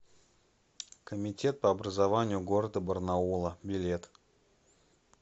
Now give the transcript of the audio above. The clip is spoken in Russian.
комитет по образованию города барнаула билет